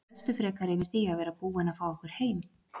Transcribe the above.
Gleðstu frekar yfir því að vera búinn að fá okkur heim.